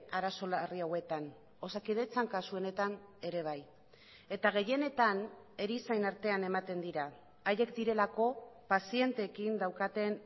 arazo larri hauetan osakidetzan kasu honetan ere bai eta gehienetan erizain artean ematen dira haiek direlako pazienteekin daukaten